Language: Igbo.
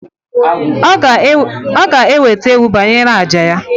Oga eweta ewu banyere aja ya.